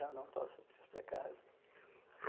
Eu não posso te explicar isso.